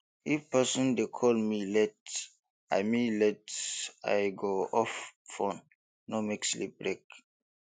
if person dey call me late i me late i go off phone no make sleep break